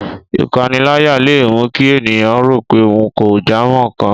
Ìpaniláyà leè mú kí ènìyàn rò pé ohun kò jámọ́ nkan